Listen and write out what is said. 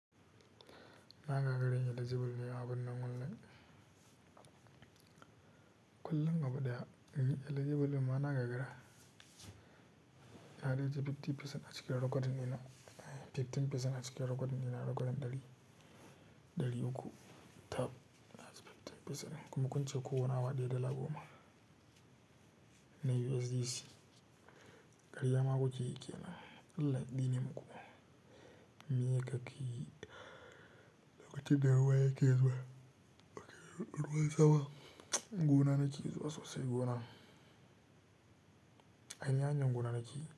Na gagara in eligible ne a binan online. Kullum abu ɗaya inyi eligible don ma na gagara. Na dai tafi fifty percent a cikin recording ɗinan Fifty percent a cikin recording ɗinan ɗari, ɗari uku ta a fifteen per cent kuma kunce kowane awa ɗaya dala goma na USDC. Ƙarya ma ku ke yi ƙenan. Allah, tsine muku ma. Meye ka ke yi. Lokaci da ruwa ya ke zuwa, ruwan sama gona na ke zuwa sosai gona. Anyi aikin gona nake yi.